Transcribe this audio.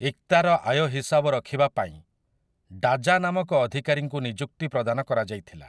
ଇକ୍ତାର ଆୟ ହିସାବ ରଖିବା ପାଇଁ ଡା଼ଜା ନାମକ ଅଧିକାରୀଙ୍କୁ ନିଯୁକ୍ତି ପ୍ରଦାନ କରାଯାଇଥିଲା ।